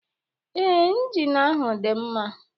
Ee, Ịnjịn ahụ dị mma.